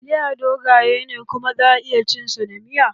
Taliya dogaye ne kuma za a iya cin sa da miya